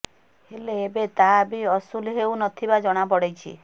ହେଲେ ଏବେ ତାହା ବି ଅସୁଲ ହେଉ ନଥିବା ଜଣାପଡିଛି